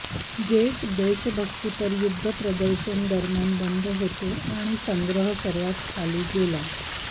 great देशभक्तीपर युद्ध प्रदर्शन दरम्यान बंद होते आणि संग्रह सर्वात खाली गेला